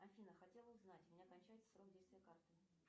афина хотела узнать у меня кончается срок действия карты